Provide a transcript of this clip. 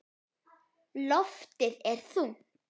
Loftið er þungt.